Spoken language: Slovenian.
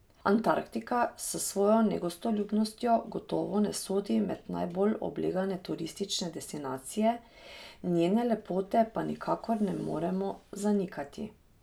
Antarktika s svojo negostoljubnostjo gotovo ne sodi med najbolj oblegane turistične destinacije, njene lepote pa nikakor ne moremo zanikati.